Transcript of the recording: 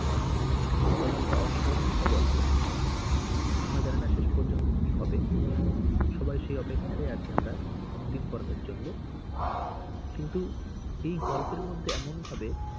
এই গল্পটা অসাধারণ একটা গল্প। আমরা জানিনা শেষ পর্যন্ত কি হবে। সবাই সেই অপেক্ষায় আছি আমরা অন্তিম পর্বের জন্যে। কিন্তু এই গল্পের মধ্যে এমন ভাবে,